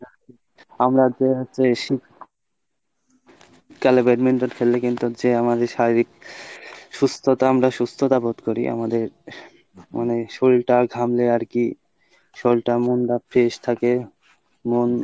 আমরা যে হচ্ছে শীতকালে badminton খেললে যে আমাদের শারীরিক সুস্থতা আমরা সুস্থতা বোধ করি আমাদের মানে শরীর টা ঘামলে আরকি শরীরটা মনটা fresh থাকে। মন